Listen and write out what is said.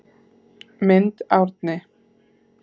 Mynd Árni